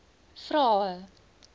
vrae